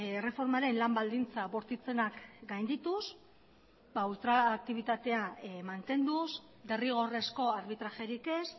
erreformaren lan baldintza bortitzenak gaindituz ultraaktibitatea mantenduz derrigorrezko arbitrajerik ez